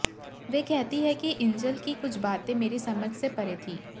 वे कहती हैं कि इंजील की कुछ बाते मेरी समझ से परे थीं